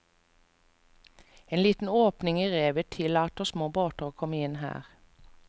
En liten åpning i revet tillatter små båter å komme inn her.